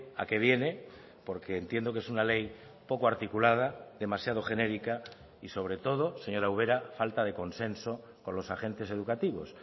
a qué viene porque entiendo que es una ley poco articulada demasiado genérica y sobre todo señora ubera falta de consenso con los agentes educativos